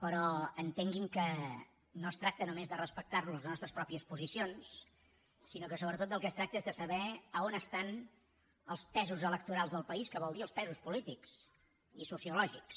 però entenguin que no es tracta només de respectarnos les nostres pròpies posicions sinó que sobretot del que es tracta és de saber a on estan els pesos electorals del país que vol dir els pesos polítics i sociològics